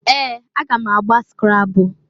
Ee! Aga m agba skrabul.